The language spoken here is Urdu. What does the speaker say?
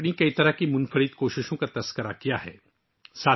انہوں نے اپنی بہت سی منفرد کوششوں پر تبادلہ خیال کیا ہے